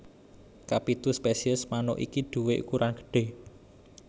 Kapitu spesies manuk iki duwé ukuran gedhé